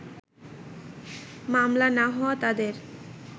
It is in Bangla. মামলা না হওয়ায় তাদের